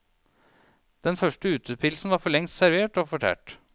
Den første utepilsen var forlengst servert og fortært.